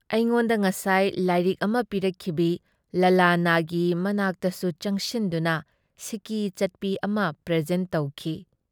ꯑꯩꯉꯣꯟꯗ ꯉꯁꯥꯏ ꯂꯥꯏꯔꯤꯛ ꯑꯃ ꯄꯤꯔꯛꯈꯤꯕꯤ ꯂꯂꯅꯥꯒꯤ ꯃꯅꯥꯛꯇꯁꯨ ꯆꯡꯁꯤꯟꯗꯨꯅ ꯁꯤꯀꯤ ꯆꯠꯄꯤ ꯑꯃ ꯄ꯭ꯔꯦꯖꯦꯟꯠ ꯇꯧꯈꯤ ꯫